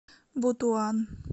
бутуан